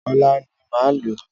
Ọ̀la ni máa lọ.